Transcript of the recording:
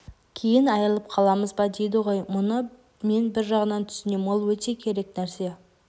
кейін айырылып қаламыз ба дейді ғой бұны мен бір жағынан түсінем ол өте керек нәрсе